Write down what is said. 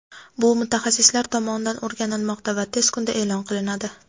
Bu mutaxassislar tomonidan o‘rganilmoqda va tez kunda e’lon qilinadi.